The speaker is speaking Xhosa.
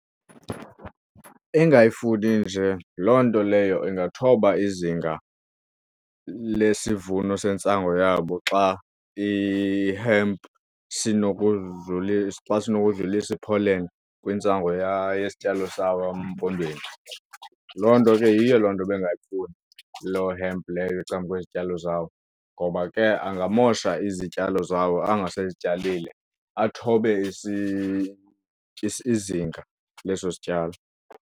Engayifuni nje loo nto leyo ingathoba izinga lesivuno sentsango yabo xa i-hemp xa sinokudlulisa i-pollen kwintsango yesityalo sawo emaMpondweni. Loo nto ke yiyo loo nto bengayifuni loo hemp leyo ecang'kwezityalo zabo ngoba ke angamosha izityalo zawo anga sezityalile athobe izinga leso sityalo.